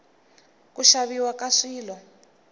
ku xaviwa ka swilo